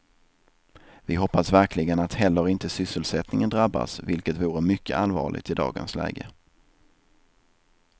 Vi hoppas verkligen att heller inte sysselsättningen drabbas, vilket vore mycket allvarligt i dagens läge.